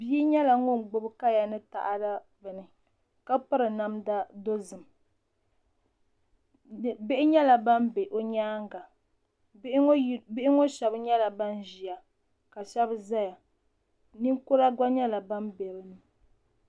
Bia yɛla ŋuni gbubi kaya ni taada bini ka piri namda dozim bihi yɛla bani bɛ o yɛanga bihi ŋɔ shɛba yɛla bani zi ya ka shɛba za ya ninkura gba yɛla bani bɛ bi puuni.